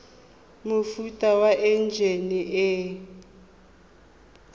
mofuta wa enjine e e